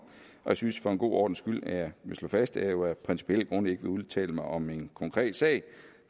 jeg synes for en god ordens skyld at jeg vil slå fast at jeg jo af principielle grunde ikke vil udtale mig om en konkret sag